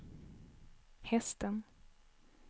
hästen